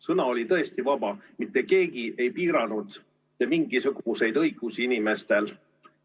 Sõna oli tõesti vaba, mitte keegi ei piiranud mitte mingisuguseid õigusi inimestel.